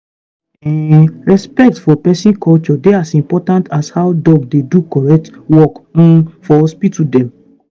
ehnnn respect for peson culture dey as important as how doc dey do correct work um for hospital dem.